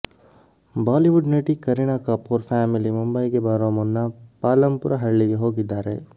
Bollywood ನಟಿ Kareena Kapoor family ಮುಂಬೈಗೆ ಬರೋ ಮುನ್ನ ಪಾಲಂಪುರ ಹಳ್ಳಿಗೆ ಹೋಗಿದ್ದಾರೆ